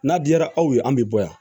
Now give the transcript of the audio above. N'a diyara aw ye an bɛ bɔ yan